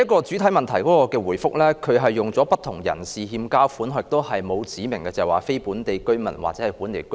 主體答覆的第一部分，使用的字眼是"不同人士欠交款項"，沒有指明是非本地居民或本地居民。